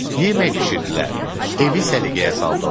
Yemək bişirdilər, evi səliqəyə saldılar.